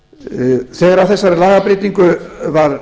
þegar að þessari lagabreytingu var